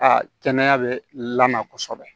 Aa kɛnɛya bɛ la kosɛbɛ